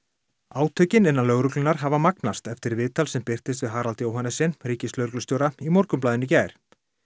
átökin innan lögreglunnar hafa magnast eftir viðtal sem birtist við Harald Johannessen ríkislögreglustjóra í Morgunblaðinu í gær